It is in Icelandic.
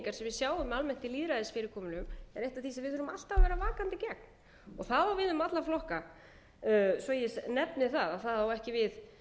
sjáum almennt í lýðræðisfyrirkomulögum er eitt af því sem við þurfum alltaf að vera vakandi gegn það á við um alla flokka svo ég nefni það það á við